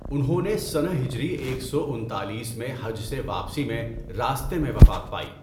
انہوں نے سنہ ہجری ایک سو انچالیس میں حج سے واپسی میں راستہ میں وفات پائی۔